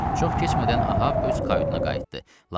Çox keçmədən Ahav öz kayutuna qayıtdı.